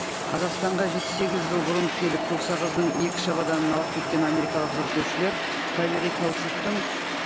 қазақстанға жеті сегіз жыл бұрын келіп көк сағыздың екі шабаданын алып кеткен америкалық зерттеушілер табиғи каучуктың